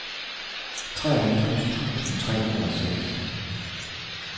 treoghalvfjerds tusind tre hundrede og seks